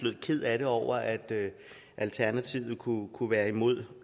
ked af det over at alternativet kunne kunne være imod